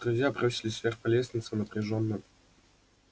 друзья бросились вверх по лестнице напряжённо